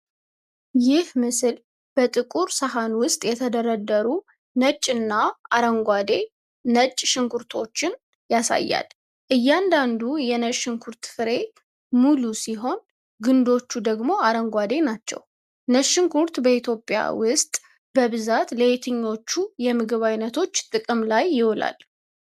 ይህ ምስል በጥቁር ሣጥን ውስጥ የተደረደሩ ነጭና አረንጓዴ ነጭ ሽንኩርቶችን (Garlic/ነጭ ሽንኩርት) ያሳያል። እያንዳንዱ የነጭ ሽንኩርት ፍሬ ሙሉ ሲሆን፣ ግንዶቹ ደግሞ አረንጓዴ ናቸው። ነጭ ሽንኩርት በኢትዮጵያ ውስጥ በብዛት ለየትኞቹ የምግብ አይነቶች ጥቅም ላይ ይውላል?